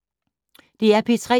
DR P3